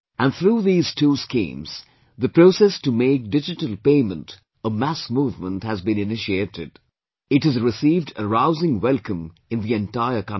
And through these two schemes, the process to make digital payment a mass movement has been initiated; it has received a rousing welcome in the entire country